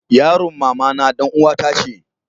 yaron mamana dan uwa ta ce